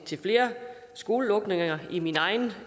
flere skolelukninger i min egen